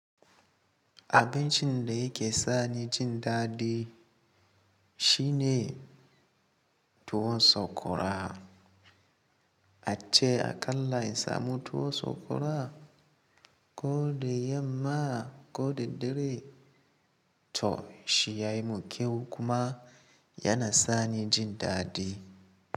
Abincin da yake sani jin daɗi shine tuwon sokora. Ace aƙalla in samu tuwon sakwara ko da yamma ko da dare. To shi ya yi mun kyau kuma yana sani jin daɗi.